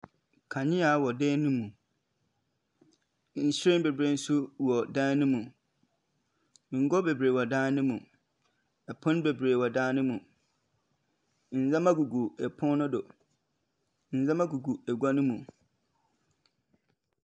Kanea wɔ dan ne mu, nhyiren beberee nso wɔ dan ne mu, ngua beberee wɔ dan ne mu, pon wɔ dan ne mu, ndzɛmba gugu egua no mu, ndzɛmba gugu pon no do.